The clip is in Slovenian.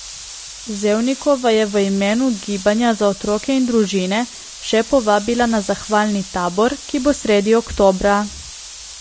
Zevnikova je v imenu Gibanja za otroke in družine še povabila na zahvalni tabor, ki bo sredi oktobra.